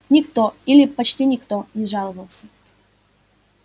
никто или почти никто не жаловался